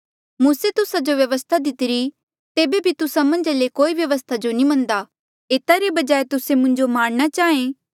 मूसे तुस्सा जो व्यवस्था दितीरी तेबे बी तुस्सा मन्झा ले कोई व्यवस्था जो नी मनदा एता रे बजाय तुस्से मुंजो मारणा चाहें